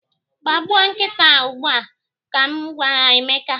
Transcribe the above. Gbagbuo nkịta a ugbu a! ka m gwara Emeka.